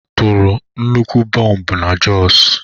A tụrụ nnukwu bọmbụ na Jos.